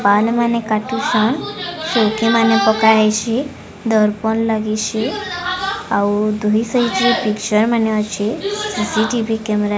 ପାନ ମାନେ କାଟୁଚନ୍ ଚୌକି ମାନେ ପକା ହେଇଚି ଦରପନ୍ ଲାଗିଛି ଆଉ ଦୁଇ ସାଇଟ ରେ ପିକ୍ଚର ମାନେ ଅଛି ସି_ସି ଟି_ଭି କ୍ୟାମେରା --